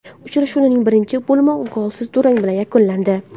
Uchrashuvning birinchi bo‘limi golsiz durang bilan yakunlandi.